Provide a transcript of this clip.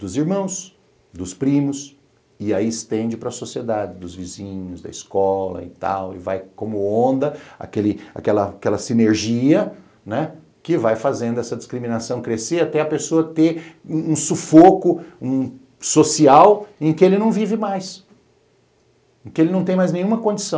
dos irmãos, dos primos, e aí estende para a sociedade, dos vizinhos, da escola e tal, e vai como onda aquele aquela aquela sinergia, né, que vai fazendo essa discriminação crescer até a pessoa ter um sufoco social em que ele não vive mais, em que ele não tem mais nenhuma condição.